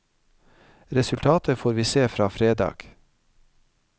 Resultatet får vi se fra fredag.